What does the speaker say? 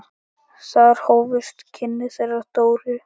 Þar hófust kynni þeirra Dóru.